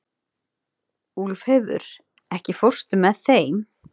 Úlfheiður, ekki fórstu með þeim?